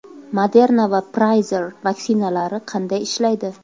Moderna va Pfizer vaksinalari qanday ishlaydi?.